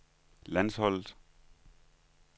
landsholdet